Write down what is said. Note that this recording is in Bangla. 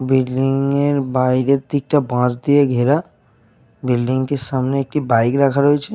বিল্ডিং -এর বাইরে থেকে বাঁশ দিয়ে ঘেরা বিল্ডিং -টির সামনে একটি বাইক রাখা রয়েছে।